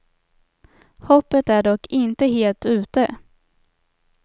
Hoppet är dock inte helt ute.